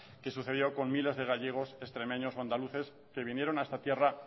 que sucedió con miles de gallegos extremeños o andaluces que vinieron a esta tierra